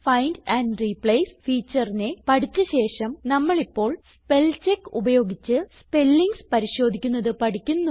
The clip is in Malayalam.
ഫൈൻഡ് ആൻഡ് റിപ്ലേസ് featureനെ പഠിച്ച ശേഷം നമ്മളിപ്പോൾ സ്പെൽചെക്ക് ഉപയോഗിച്ച് സ്പെല്ലിങ്സ് പരിശോധിക്കുന്നത് പഠിക്കുന്നു